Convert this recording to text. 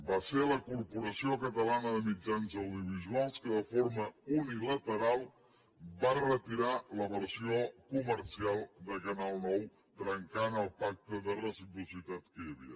va ser la corporació catalana de mitjans audiovisuals que de forma unilateral va retirar la versió comercial de canal nou trencant el pacte de reciprocitat que hi havia